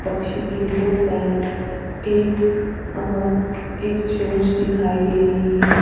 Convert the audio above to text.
पक्षी के दो पैर एक आंख एक चोंच दिखाई दे रही है ।